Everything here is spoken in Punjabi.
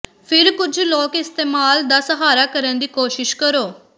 ਫਿਰ ਕੁਝ ਲੋਕ ਇਸਤੇਮਲ ਦਾ ਸਹਾਰਾ ਕਰਨ ਦੀ ਕੋਸ਼ਿਸ਼ ਕਰੋ